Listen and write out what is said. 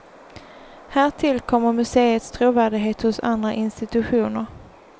Härtill kommer museets trovärdighet hos andra institutioner.